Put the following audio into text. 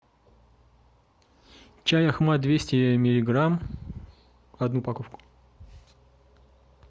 чай ахмат двести миллиграмм одну упаковку